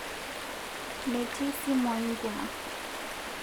Metii simuai nkima